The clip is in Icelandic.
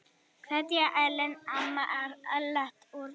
Kveðja Ellen, mamma Ellert Rúnars.